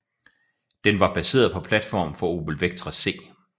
Den var baseret på platformen fra Opel Vectra C